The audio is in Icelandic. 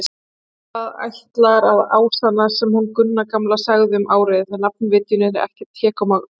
Það ætlar að ásannast sem hún Gunna gamla sagði um árið: nafnvitjun er ekkert hégómamál.